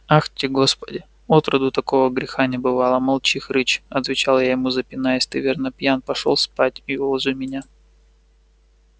ахти господи отроду такого греха не бывало молчи хрыч отвечал я ему запинаясь ты верно пьян пошёл спать и уложи меня